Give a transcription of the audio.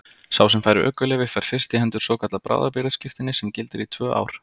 Sá sem fær ökuleyfi fær fyrst í hendur svokallað bráðabirgðaskírteini sem gildir í tvö ár.